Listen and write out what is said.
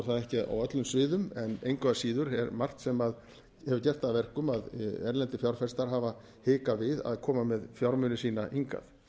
það ekki á öllum sviðum en engu að síður er margt sem hefur gert það að verkum að erlendir fjárfestar hafa hikað við að koma með fjármuni sína hingað